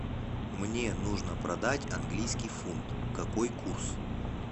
мне нужно продать английский фунт какой курс